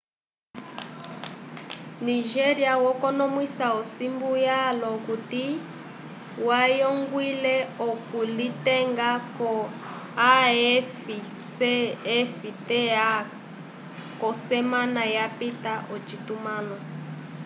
nigéria yakonomwisa osimbu yalwa okuti yayongwile okulitenga ko afcfta k'osemana yapita ocitumãlo